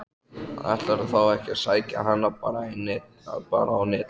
Ætlarðu þá ekki að sækja hana bara á Netið?